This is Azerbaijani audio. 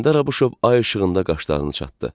İsgəndər Abışov ay işığında qaşlarını çatdı.